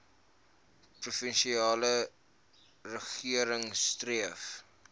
provinsiale regering streef